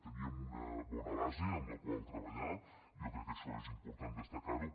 teníem una bona base amb la qual treballar jo crec que això és important destacar ho